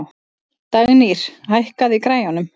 Dagnýr, hækkaðu í græjunum.